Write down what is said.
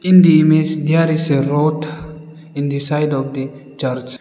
In the image there is a road in the side of the church.